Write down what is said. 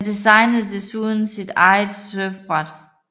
Han designede desuden sit eget surfbræt